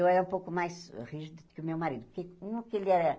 Eu era um pouco mais rígida que o meu marido, porque um que ele era...